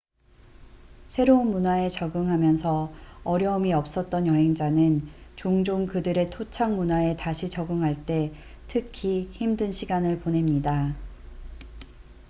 새로운 문화에 적응하면서 어려움이 없었던 여행자는 종종 그들의 토착 문화에 다시 적응할 때 특히 힘든 시간을 보냅니다